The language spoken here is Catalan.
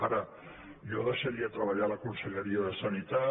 ara jo deixaria treba·llar la conselleria de sanitat